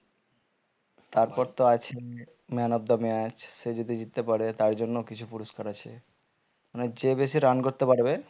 তারপর তো আছে man of the match সে যদি জিততে পারে তার জন্য কিছু পুরস্কার আছে মানে যে বেশি run করতে পারবে